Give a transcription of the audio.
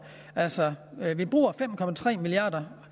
altså vi bruger fem milliarder